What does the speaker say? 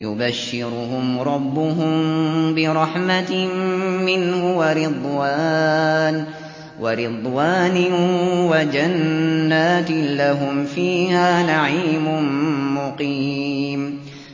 يُبَشِّرُهُمْ رَبُّهُم بِرَحْمَةٍ مِّنْهُ وَرِضْوَانٍ وَجَنَّاتٍ لَّهُمْ فِيهَا نَعِيمٌ مُّقِيمٌ